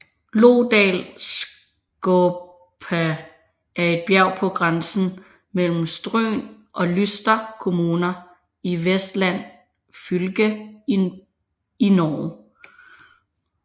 Lodalskåpa er et bjerg på grænsen mellem Stryn og Luster kommuner i Vestland fylke i Norge